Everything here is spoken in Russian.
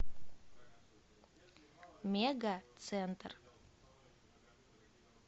мега центр